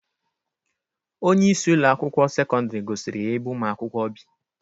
Onyeisi Ụlọ akwụkwọ sekọndrị gosiri ya ebe ụmụ akwụkwọ bi.